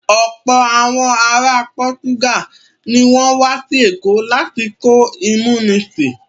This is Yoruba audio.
Ọ̀pọ̀ àwọn ara Pọ́túgàl ní ó wá sí Èkó lásìkò ìmúnisìn